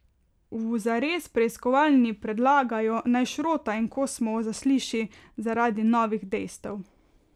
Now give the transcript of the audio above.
V Zares preiskovalni predlagajo, naj Šrota in Kosmovo zasliši zaradi novih dejstev.